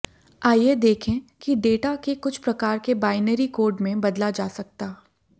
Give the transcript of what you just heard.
आइए देखें कि डेटा के कुछ प्रकार के बाइनरी कोड में बदला जा सकता